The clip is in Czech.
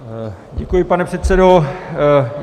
Děkuji, pane předsedo.